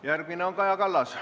Järgmine on Kaja Kallas.